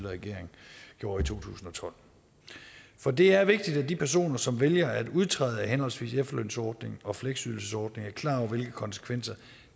regering gjorde i to tusind og tolv for det er vigtigt at de personer som vælger at udtræde af henholdsvis efterlønsordningen og fleksydelsessordningen er klar over hvilke konsekvenser